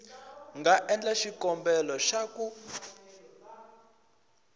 nga endla xikombelo xa ku